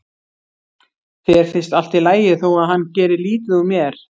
Þér finnst allt í lagi þó að hann geri lítið úr mér.